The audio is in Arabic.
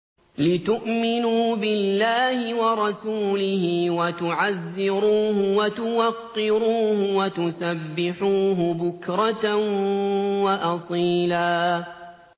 لِّتُؤْمِنُوا بِاللَّهِ وَرَسُولِهِ وَتُعَزِّرُوهُ وَتُوَقِّرُوهُ وَتُسَبِّحُوهُ بُكْرَةً وَأَصِيلًا